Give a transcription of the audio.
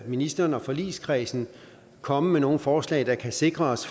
ministeren og forligskredsen komme med nogen forslag der kan sikre os